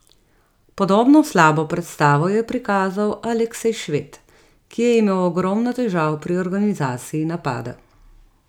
Podobno slabo predstavo je prikazal Aleksej Šved, ki je imel ogromno težav pri organizaciji napada.